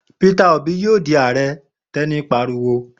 Peter Obi yóò di Ààrẹ! Teni pariwo.